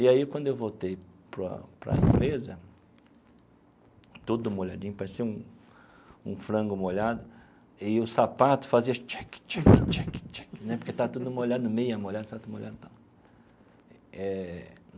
E aí, quando eu voltei para para a empresa, todo molhadinho, parecia um um frango molhado, e o sapato fazia... Né porque estava tudo molhado, meia molhada tudo molhado tal.